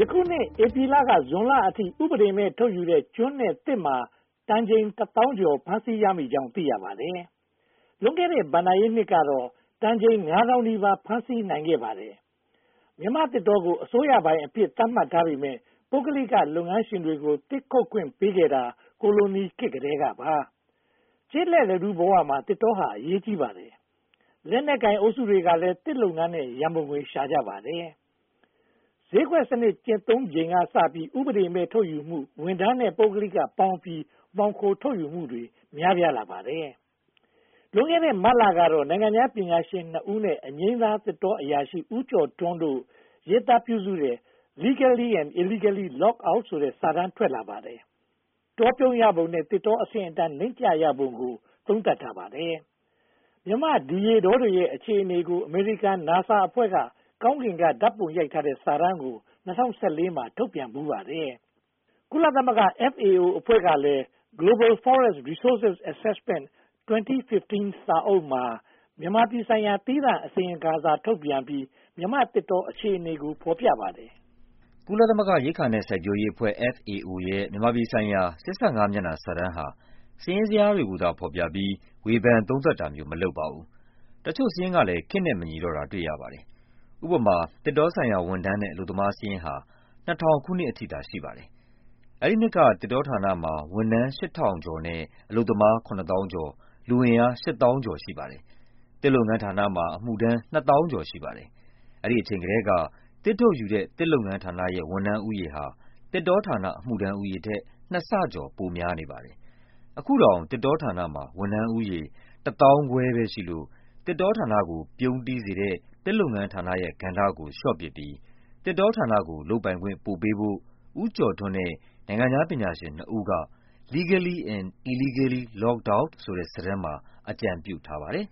ယခုနှစ် ဧပြီလကနေ ဇွန်လအထိ ဥပဒေမဲ့ ထုတ်ယူတဲ့ ကျွန်နဲ့သစ်မာ တန်ချိန်တသောင်းကျော် ဖမ်းဆီးရမိကြောင်း သိရပါတယ်။ လွန်ခဲ့တဲ့ ဘဏ္ဍာရေးနှစ်ကတော့ တန်ချိန် ငါးသောင်းနီးပါး ဖမ်းဆီးနိုင်ခဲ့ပါတယ်။ မြန်မာသစ်တောကို အစိုးရပိုင်အဖြစ် သတ်မှတ်ထားပေမယ့် ပုဂ္ဂလိက လုပ်ငန်းရှင်တွေကို သစ်ခုတ်ခွင့်ပေးခဲ့တာ ကိုလိုနီခေတ်ကတည်းကပါ။ ကျေးလက်လူထုဘဝမှာ သစ်တောဟာ အရေးကြီးပါတယ်။ လက်နက်ကိုင်အုပ်စုတွေကလည်း သစ်လုပ်ငန်းနဲ့ ရန်ပုံငွေ ရှာကြပါတယ်။ ဈေးကွက်စနစ် ကျင့်သုံးချိန်ကစပြီး ဥပဒေမဲ့ ထုတ်ယူမှု၊ ဝန်ထမ်းနဲ့ ပုဂ္ဂလိကပေါင်းပြီး မှောင်ခိုထုတ်ယူမှုတွေ များပြားလာပါတယ်။ လွန်ခဲ့တဲ့ မတ်လကတော့ နိုင်ငံခြားပညာရှင်နှစ်ဦးနဲ့ အငြိမ်းစားသစ်တောအရာရှိ ဦးကျော်ထွန်းတို့ ရေးသားပြုစုတဲ့ Legally and Illegally Logged out ဆိုတဲ့ စာတမ်းထွက်လာပါတယ်။ တောပြုန်းရပုံနဲ့ သစ်တောအဆင့်အတန်း ကျဆင်းပုံကို သုံးသပ်ထားပါတယ်။ မြန်မာ့ဒီရေတောတွေရဲ့ အခြေအနေကို အမေရိကန် NASA အဖွဲ့က ကောင်ကင်ကဓါတ်ပုံ ရိုက်ထားတဲ့ စာတမ်းကို ၂၀၁၄ မှာ ထုတ်ပြန်ဖူးပါတယ်။ ကုလသမဂ္ဂ FAO အဖွဲ့ကလည်း Global Forest Resources Assessment 2015 စာအုပ်မှာ မြန်မာပြည်ဆိုင်ရာ သီးသန့်အစီရင်ခံစာ ထုတ်ပြန်ပြီး မြန်မာ့သစ်တောအခြေအနေကို ဖော်ပြပါတယ်။ ကုလသမဂ္ဂရိက္ခာ နဲ့ စိုက်ပျိုးရေးအဖွဲ့ FAO ရဲ့ မြန်မာပြည်ဆိုင်ရာ (၈၅) မျက်နှာစာတမ်းဟာ စာရင်းဇယားတွေကိုသာ ဖော်ပြပြီး ဝေဖန်သုံးသပ်တာမျိုး မလုပ်ပါဘူး။ တချို့စာရင်းကလည်း ခေတ်နဲ့မညီတော့တာ တွေ့ရပါတယ်။ ဥပမာ သစ်တောဆိုင်ရာဝန်ထမ်းနဲ့ အလုပ်သမားစာရင်းဟာ (၂၀၀၀) ခုနှစ်အထိသာ ရှိပါတယ်။ အဲဒီနှစ်က သစ်တောဌာနမှာ ဝန်ထမ်း (၈၆၂၂) နဲ့ အလုပ်သမား (၇၁၈၅၅)၊ လူအင်အား (၈၀၄၇၇) ရှိပါတယ်။ သစ်လုပ်ငန်းဌာနမှာ အမှုထမ်း (၂၀၃၉၆) ရှိပါတယ်။ အဲဒီအချိန်ကတည်းက သစ်ထုတ်ယူတဲ့ သစ်လုပ်ငန်းဌာနရဲ့ ဝန်ထမ်းဦးရေဟာ သစ်တောဌာနအမှုထမ်းဦးရေထက် နှစ်ဆကျော် ပိုများနေပါတယ်။ အခုတောင် သစ်တောဌာနမှာ ဝန်ထမ်းဦးရေ (၁၅၄၄၉) သာရှိလို့ သစ်တောကို ပြုန်းတီးစေတဲ့ သစ်လုပ်ငန်းဌာနရဲ့ကဏ္ဍကို လျှော့ချပြီး သစ်တောဌာနကို လုပ်ပိုင်ခွင့်ပိုပေးဖို့ ဦးကျော်ထွန်းနဲ့ နိုင်ငံခြားပညာရှင်နှစ်ဦးက Legally and Illegally Logged out ဆိုတဲ့ စာတမ်းမှာ အကြံပြုထားပါတယ်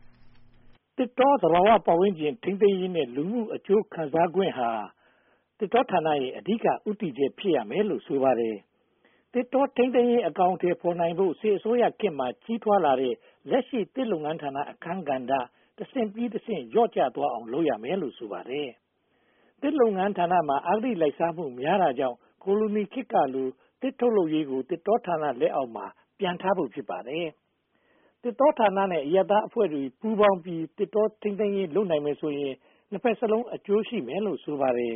။ သစ်တောသဘာဝပတ်ဝန်းကျင် ထိန်းသိမ်းရေးနဲ့ လူမှုအကျိုးခံစားခွင့်ဟာ သစ်တောဌာနရဲ့ အဓိက ဦးတည်ချက် ဖြစ်ရမယ်လို့ ဆိုပါတယ်။ သစ်တောထိန်းသိမ်းရေး အကောင်အထည်ဖော်နိုင်ဖို့ စစ်အစိုးရခေတ်မှာ ကြီးထွားလာတဲ့ လက်ရှိသစ်လုပ်ငန်းဌာန အခန်းကဏ္ဍ တဆင့်ပြီးတဆင့် လျော့ကျသွားအောင် လုပ်ရမယ်လို့ ဆိုပါတယ်။ သစ်လုပ်ငန်းဌာနမှာ အဂတိလိုက်စားမှု များတာကြောင့် ကိုလိုခေတ်ကလို သစ်ထုတ်လုပ်ရေးကို သစ်တောဌာန လက်အောက်မှာ ပြန်ထားဖို့ ဖြစ်ပါတယ်။ သစ်တောဌာနနဲ့ အရပ်သားအဖွဲ့အစည်းတွေ ပူးပေါင်းပြီး သစ်တောထုတ်လုပ်ရေးလုပ်နိုင်ရင် နှစ်ဘက်စလုံး အကျိုးရှိမယ်လို့ ဆိုပါတယ်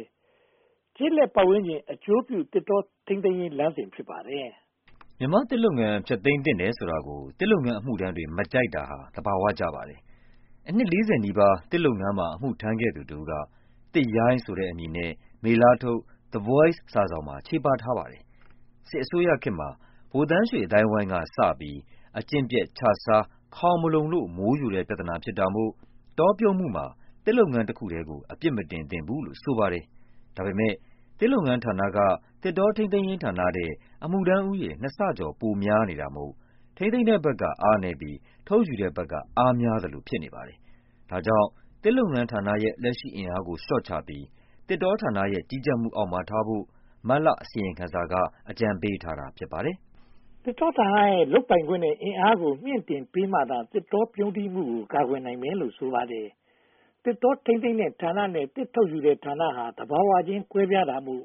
။ ကျေးလက်ပတ်ဝန်းကျင် အကျိုးပြု သစ်တောထိန်းသိမ်းရေးလမ်းစဉ် ဖြစ်ပါတယ်။ မြန်မာ့သစ်လုပ်ငန်း ဖျက်သိမ်းသင့်တယ်ဆိုတာကို သစ်လုပ်ငန်းအမှုထမ်းတွေ မကြိုက်တာဟာ သဘာဝကျပါတယ်။ အနှစ် (၄၀) နီးပါး သစ်လုပ်ငန်းမှာ အမှုထမ်းခဲ့သူတဦးက ‘သစ်ရိုင်း’ ဆိုတဲ့ အမည်နဲ့ မေလထုတ် The Voice စာစောင်မှာ ချေပထားပါတယ်။ စစ်အစိုးရခေတ်မှာ ဗိုလ်သန်းရွှေအသိုင်းအဝိုင်းကစပြီး အကျင့်ပျက်ခြစား ခေါင်မလုံလို့ မိုးယိုတဲ့ပြဿနာဖြစ်တာမို့ တောပြုန်းမှုမှာ သစ်လုပ်ငန်းတခုတည်းကို အပြစ်မတင်သင့်ဘူးလို့ ဆိုပါတယ်။ ဒါပေမဲ့ သစ်လုပ်ငန်းဌာနမှာ သစ်တောထိန်းသိမ်းရေး ဌာနထက် အမှုထမ်းဦးရေ (၂) ဆကျော် ပိုများနေတာမို့ ထိန်းသိမ်းတဲ့ဘက်က အားနည်းပြီး ထုတ်ယူတဲ့ဘက်က အားများသလို ဖြစ်နေပါတယ်။ ဒါကြောင့် သစ်လုပ်ငန်းဌာနရဲ့ လက်ရှိအင်အားကို လျော့ချပြီး သစ်တောဌာနရဲ့ ကြီးကြပ်မှုအောက်မှာထားဖို့ မတ်လအစီရင်ခံစာက အကြံပေးထားတာ ဖြစ်ပါတယ်။ သစ်တောဌာနရဲ့ လုပ်ပိုင်ခွင့်နဲ့ အင်အားကို မြှင့်တင်ပေးမှသာ သစ်တောပြုန်းတီးမှုကို ကာကွယ်နိုင်မယ်လို့ ဆိုပါတယ်။ သစ်တောထိန်းသိမ်းတဲ့ဌာနနဲ့ သစ်ထုတ်ယူတဲ့ဌာနဟာ သဘာဝချင်းကွဲပြားတာမို့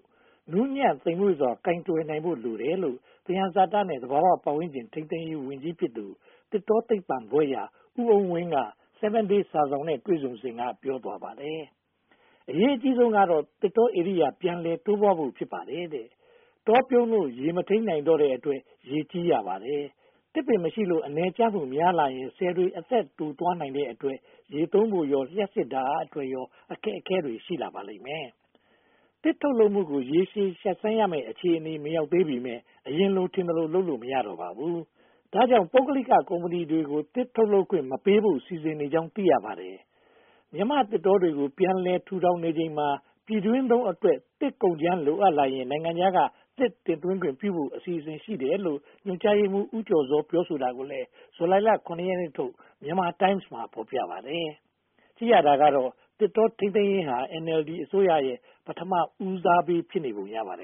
နူးညံ့သိမ်မွေ့စွာ ကိုင်တွယ်ဖို့ လိုတယ်လို့ သယံဇာတနဲ့ သဘာဝပတ်ဝန်းကျင် ထိန်းသိမ်းရေးဝန်ကြီးဖြစ်သူ သစ်တောသိပ္ပံဘွဲ့ရ ဦးအုန်းဝင်း က 7 Day စာစောင်နဲ့ တွေ့ဆုံစဉ်က ပြောသွားပါတယ်။ အရေးအကြီးဆုံးကတော့ သစ်တောဧရိယာ ပြန်လည်တိုးပွားလာဖို့ ဖြစ်ပါတယ်တဲ့။ တောပြုန်းလို့ ရေကိုမထိန်းနိုင်တော့တဲ့အတွက် ရေကြီးရပါတယ်။ သစ်ပင်မရှိလို့ အနည်ကျမှု များလာရင် ဆည်တွေအသက်တိုသွားနိုင်တဲ့အတွက် ရေသုံးဖို့ရော လျှပ်စစ်ဓါတ်အားအတွက်ရော အခက်အခဲတွေ ရှိလာပါလိမ့်မယ်။ သစ်ထုတ်လုပ်မှုကို ရေရှည်ရပ်ဆိုင်းရမယ့် အခြေအနေမရောက်သေးပေမယ့် အရင်လို ထင်သလို လုပ်လို့ မရတော့ပါဘူး။ ဒါကြောင့် ပုဂ္ဂလိက ကုမ္ပဏီတွေကို သစ်ထုတ်လုပ်ခွင့်မပေးဖို့ စီစဉ်နေကြောင်း သိရပါတယ်။ မြန်မာ့သစ်တောတွေကို ပြန်လည်ထူထောင်နေချိန်မှာ ပြည်တွင်းသုံးအတွက် သစ်ကုန်ကြမ်း လိုအပ်လာရင် နိုင်ငံခြားက သစ်တင်သွင်းခွင့်ပြုဖို့ အစီအစဉ်ရှိတယ်လို့ ညွှန်ကြားရေမှူးချုပ် ဦးကျော်ဇော ပြောဆိုတာကို ဇူလိုင် (၇) ရက်နေ့ထုတ် မြန်မာတိုင်းမ်စ်မှာ ဖော်ပြပါတယ်။ ကြည့်ရတာကတော့ သစ်တောထိန်းသိမ်းရေးဟာ NLD အစိုးရရဲ့ ပထမဦးစားပေး ဖြစ်နေပုံ ရပါတယ်